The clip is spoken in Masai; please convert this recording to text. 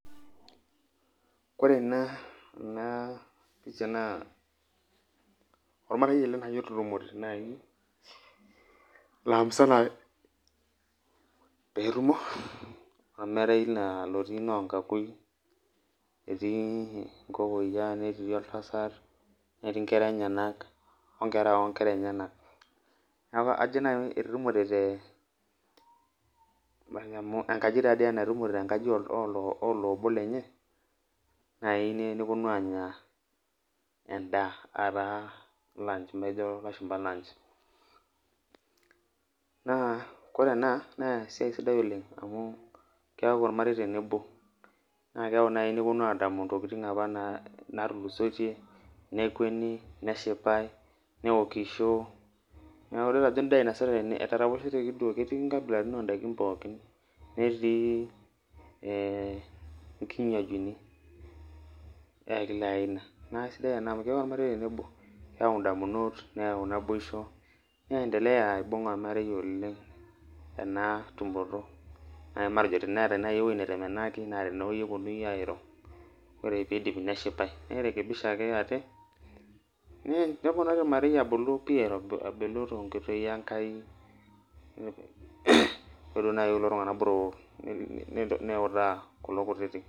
Ore ena enapisha na ormarei ele otutumore nai lamimusana petumo, ormarei otii lonkakui netii nkokouia netii oltasat onkera onkera enyenak neaku ajo nau etetumorw te enkaji taatoi ena etetumore tenkaji olobo lenye neponu anya endaa amu ejo lashumba lunch na ore enaa na esiaia sidai oleng amu keaku ormarei tenebo na keyau naibneponu alimu ntokitin nai natulusoitie nekweni neshipae neokisho neaku itadolu ajo endaa inasitae tene etaraposheteki duo ketii nkabilaitin ondakin pookin netiibekilaaina, na aisidai amu keyau ormarei tenebo keyau ndamunot neyau naboisho niendelea aibung ormarei olengena tumoto matejo teneeta nai ewoi natemenaki na tene eponu airo ore pidipi neshipae nirekebisha ake aate neponari ormarei pii abulu yiolo nai kulo tunganak botorok niutaa kulo kutitik.